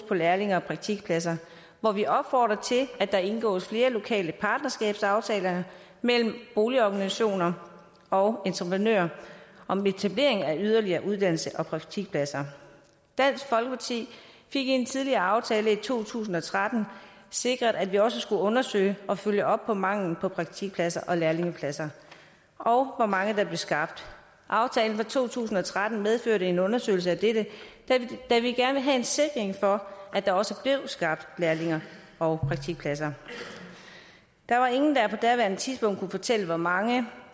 på lærlinge og praktikpladser hvor vi opfordrer til at der indgås flere lokale partnerskabsaftaler mellem boligorganisationer og entreprenører om etablering af yderligere uddannelses og praktikpladser dansk folkeparti fik i en tidligere aftale i to tusind og tretten sikret at vi også skulle undersøge og følge op på manglen på praktikpladser og lærlingepladser og hvor mange der blev skabt aftalen fra to tusind og tretten medførte en undersøgelse af dette da vi gerne ville have sikkerhed for at der også blev skabt lærlinge og praktikpladser der var ingen der på daværende tidspunkt kunne fortælle hvor mange